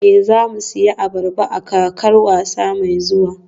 Ee, za mu sayi ayaba a kakar wasa mai zuwa